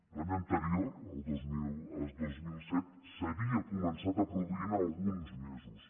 l’any anterior el dos mil set s’havia començat a produir en alguns mesos